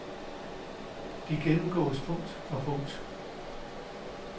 De gennemgåes punkt for punkt.